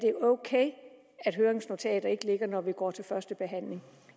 er ok og at høringsnotater ikke ligger klar når vi går til førstebehandling